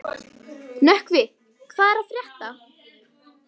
Nökkvi, hvað er að frétta?